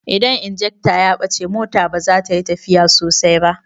Idan injekta ya bace mota baza tayi tafiya sosai ba